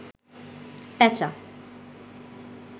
পেঁচা